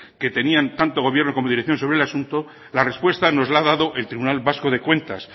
que tenían tanto el gobierno como dirección sobre el asunto la respuesta nos la ha dado el tribunal vasco de cuentas